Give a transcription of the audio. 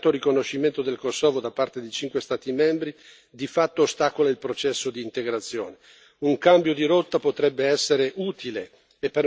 Infine, io invito a riflettere sul fatto che il mancato riconoscimento del Kosovo da parte di cinque Stati membri di fatto ostacola il processo di integrazione.